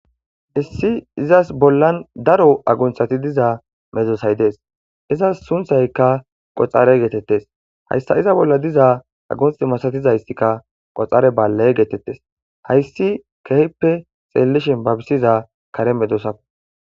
Issi izassi bollan daaro agunththi diiza meddossay dessi iizas sunththaykka qoxxare gettetes hayssa iiza bolla diiza aggunththa massatizaysazika qoxxarre baale gettetes hayssi kehippe xellishin babbisiza kaare meddossako.